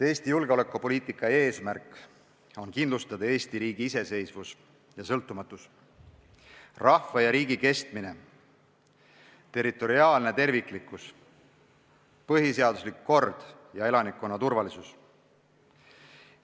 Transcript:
Eesti julgeolekupoliitika eesmärk on kindlustada Eesti riigi iseseisvus ja sõltumatus, rahva ja riigi kestmine, territoriaalne terviklikkus, põhiseaduslik kord ja elanikkonna turvalisus.